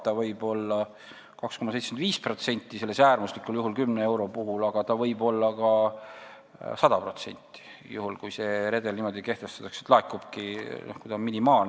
See võib olla 2,75% äärmuslikul juhul, selle 10 euro puhul, aga see võib olla ka 100%, kui redel niimoodi kehtestatakse ja see tasu on minimaalne.